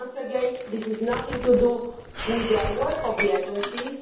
Once again, this is nothing to do with the work of the agencies.